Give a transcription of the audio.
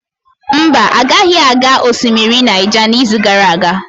Mba, agaghị aga osimiri Naija n'izu gara aga.